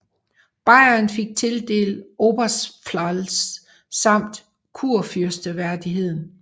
Bayern fik tildelt Oberpfalz samt kurfyrsteværdigheden